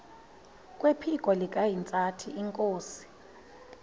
kwephiko likahintsathi inkosi